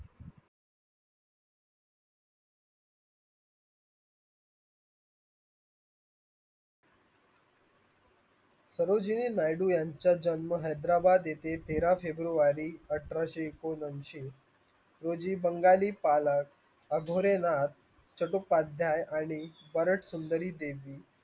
सरोजिनी नायडू यांचा जन्म हैदराबाद येथे तेरा फेब्रुवारी अठराशे ऐकोनयांशी रोजी bangal ली पालात आघोरेनाथ आणि